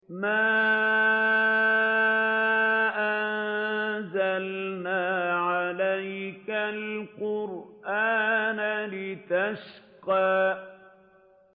مَا أَنزَلْنَا عَلَيْكَ الْقُرْآنَ لِتَشْقَىٰ